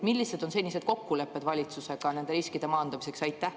Millised on senised kokkulepped valitsusega nende riskide maandamiseks?